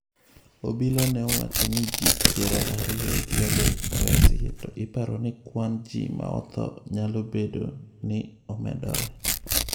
Obila ne owacho ni ji piero ariyo gi adek oresi, to iparo ni kwan ji ma otho 'nyalo" bedo ni omedore.